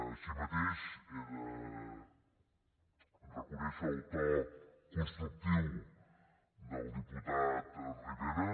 així mateix he de reconèixer el to constructiu del diputat rivera